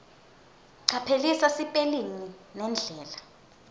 caphelisisa sipelingi nendlela